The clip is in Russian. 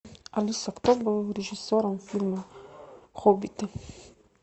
алиса кто был режиссером фильма хоббиты